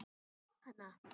Þú átt hana!